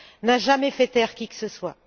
n'a jamais fait taire qui que ce soit.